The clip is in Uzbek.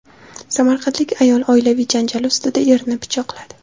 Samarqandlik ayol oilaviy janjal ustida erini pichoqladi.